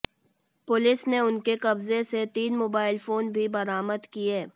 police ने उनके कब्जे से तीन मोबाइल फोन भी बरामद किये